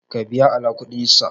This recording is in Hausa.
Ka biya Ala kudinsa!